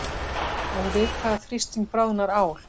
Og við hvaða þrýsting bráðnar ál?